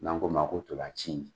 N'an k'o ma ko tolaci